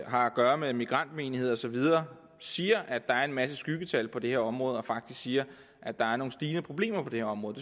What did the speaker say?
har at gøre med migrantmenigheder osv siger at der er en masse skyggetal på det her område og faktisk siger at der er en stigning i problemerne på det område